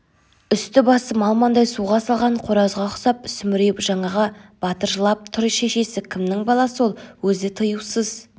үсті-басы малмандай суға салған қоразға ұқсап сүмірейіп жаңағы батыржылап тұр шешесі кімнің баласы ол өзі тыюсыз